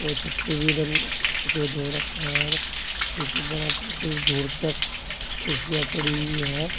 और छत पे भी रंग सफेद हो रखा है नीचे बराबर कुछ दूर तक कुर्सियां पड़ी हुई है।